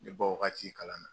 Ne bɔ wagati kalan na